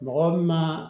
Mɔgɔ min ma